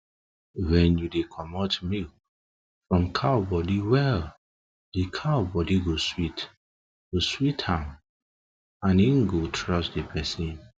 when you dey comot milk from cow body well they cow body go sweet am and em go trust de person